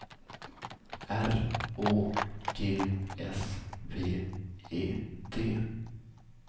R Å G S V E D